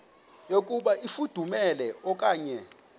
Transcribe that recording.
yokuba ifudumele okanye